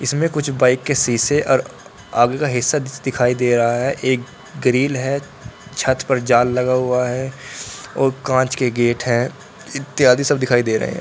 इसमें कुछ बाइक के शीशे और आगे का हिस्सा दिखाई दे रहा है एक ग्रिल है छत पर जाल लगा हुआ है और कांच के गेट हैं इत्यादि सब दिखाई दे रहा है।